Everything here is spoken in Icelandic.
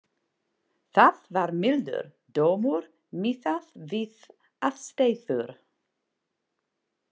Það var mildur dómur miðað við aðstæður.